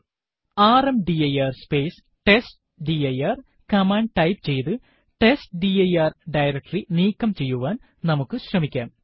rmdir space testdir command type ചെയ്ത് testdir directory നീക്കം ചെയ്യുവാൻ നമുക്ക് ശ്രമിക്കാം